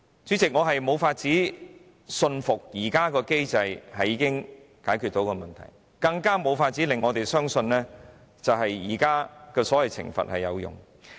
主席，我無法信服現時的機制已經能夠解決問題，更無法相信現行的所謂懲罰有用。